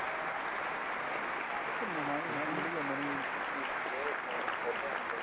ਉਹ ਤਾਂ ਹਾਂਜੀ ਹਾਂ ਨਵੀਂ ਚੀਜ ਮਿਲਦੀ ਹੈ knowledge ਚ ਵਾਧਾ ਹੁੰਦਾ